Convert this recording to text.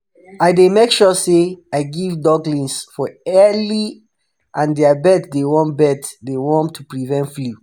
i dey make sure say i give ducklings for early and their bed dey warm bed dey warm to prevent flu.